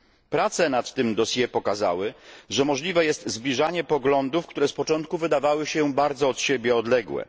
Prace nad tym dossier pokazały, że możliwe jest zbliżanie poglądów, które z początku wydawały się bardzo od siebie odległe.